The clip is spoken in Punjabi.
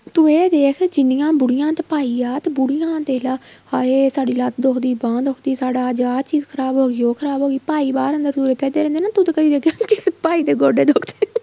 ਤੂੰ ਇਹ ਦੇਖ ਜਿੰਨੀਆਂ ਬੁੜੀਆਂ ਤੇ ਭਾਈ ਆ ਤੇ ਬੁੜੀਆਂ ਦੇਖਲਾ ਹਾਏ ਸਾਡੀ ਲੱਤ ਦੁਖਦੀ ਬਾਂਹ ਸਾਡਾ ਅੱਜ ਆ ਚੀਜ਼ ਖ਼ਰਾਬ ਹੋ ਗਈ ਉਹ ਖ਼ਰਾਬ ਹੋ ਗਈ ਭਾਈ ਬਾਹਰ ਅੰਦਰ ਤੁਰੇ ਫਿਰਦੇ ਰਹਿੰਦੇ ਨੇ ਤੂੰ ਤੇ ਕਦੀਂ ਦੇਖਿਆ ਨਹੀਂ ਭਾਈ ਏ ਗੋਡੇ ਦੁਖਦੇ ਨੇ